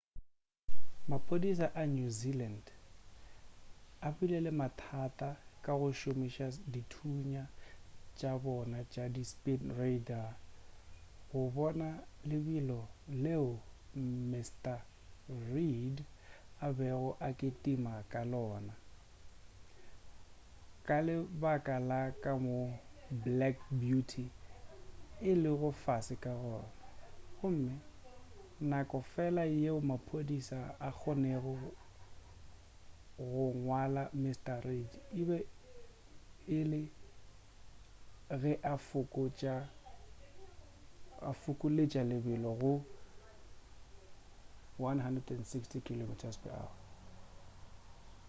maphodisa a new zealand a bile le mathata ka go šomiša dithunya tša bona tša di speed radar go bona lebelo leo mrn reid a bego a le ketims ka lebaka la ka moo black beauty e lego fase ka gona gomme nako fela yeo maphodisa a kgonnego go ngwala mrn reid e be e le ge a fokoletša lebelo go 160km/h